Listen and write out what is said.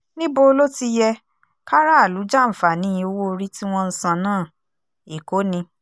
níbo ló ti yẹ kárààlú jàǹfààní owó-orí tí wọ́n ń san náà èkó ni